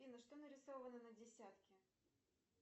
афина что нарисовано на десятке